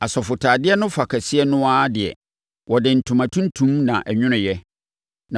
Asɔfotadeɛ no fa kɛseɛ no ara deɛ, wɔde ntoma tuntum na ɛnwonoeɛ